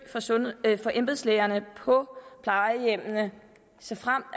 af embedslægerne på plejehjemmene såfremt